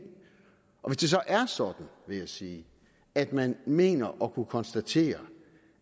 og hvis det så er sådan vil jeg sige at man mener at kunne konstatere